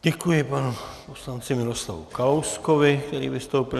Děkuji panu poslanci Miroslavu Kalouskovi, který vystoupil.